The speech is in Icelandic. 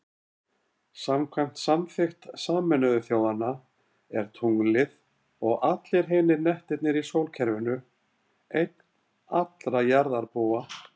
Samkvæmt samþykkt Sameinuðu þjóðanna er tunglið, og allir hinir hnettirnir í sólkerfinu, eign allra jarðarbúa.